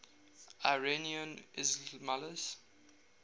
iranian ismailis